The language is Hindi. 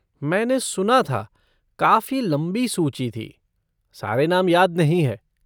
मैंने सुना था, काफ़ी लंबी सूची थी, सारे नाम याद नहीं है।